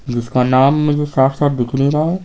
जिसका नाम मुझे साफ साफ दिख नहीं रहा है।